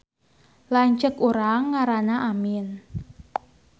Lanceuk urang ngaranna Amin